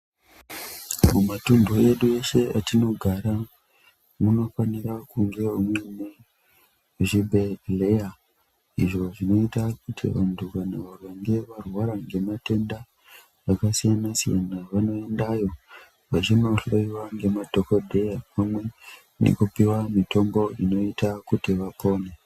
Mumatunhu edu eshe atinogara munofanira kungevo muine zvibhedhleya. Izvo zvinoite kuti vantu vakange varwara ngematenda akasiyana-siyana vanoendayo vachinohloiva ngemadhogodheya. Pamwe nekupiwa mitombo inoita kuti vapone.